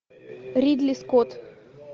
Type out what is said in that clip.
ридли скотт